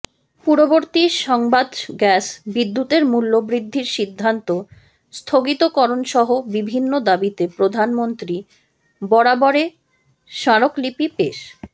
পূর্ববর্তী সংবাদগ্যাস বিদ্যুতের মূল্য বৃদ্ধির সিদ্ধান্ত স্থগিতকরণ সহ বিভিন্ন দাবিতে প্রধানমন্ত্রী বরাবরে স্মারকলিপি পেশ